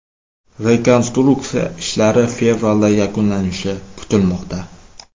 Rekonstruksiya ishlari fevralda yakunlanishi kutilmoqda.